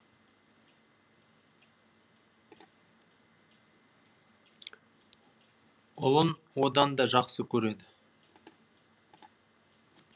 ұлын одан да жақсы көреді